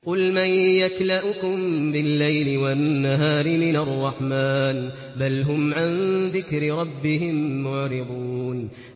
قُلْ مَن يَكْلَؤُكُم بِاللَّيْلِ وَالنَّهَارِ مِنَ الرَّحْمَٰنِ ۗ بَلْ هُمْ عَن ذِكْرِ رَبِّهِم مُّعْرِضُونَ